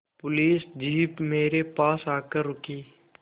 police jeep मेरे पास आकर रुकी